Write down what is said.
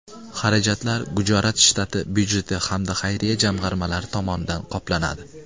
Xarajatlar Gujarat shtati byudjeti hamda xayriya jamg‘armalari tomonidan qoplanadi.